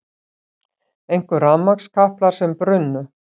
Einkum rafmagnskaplar sem brunnu